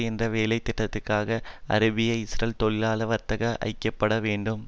என்ற வேலை திட்டத்துக்காக அராபியஇஸ்ரேல் தொழிலாள வர்க்கம் ஐக்கிய பட வேண்டும்